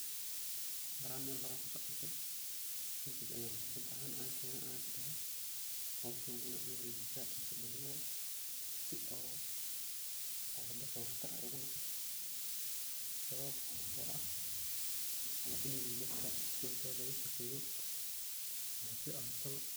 Horaan Mel horee ayan kusoarkee, kadiib ayan fikraad ahan kene, ayan isdehe hoshan waa ina uwarejisaa dadka dagmaada, o daadka wax tar ogu noqoto, sawabto ah waini daadka dantodaa lalashaqeyo si ahatawa.